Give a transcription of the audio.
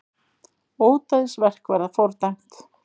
Ódæðisverk verði fordæmt